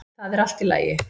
ÞAÐ ER ALLT Í LAGI!